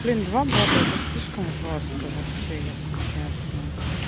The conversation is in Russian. блин два бота это слишком жёстко вообще если честно